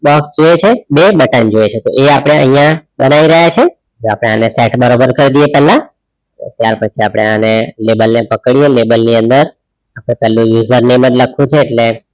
Box જોઈએ છે બે button જોઈએ છે તો એ આપડે અહીંયા બનાય રહીયા છે તો આપણે એને સેટ બરોબર કાર્ડીયે પેલા ત્યાર પછી આપણે આને લેબલ ને પકડીયે લેબલ ને અંદર આપડે પેલું user name જ લખવું છે એટલે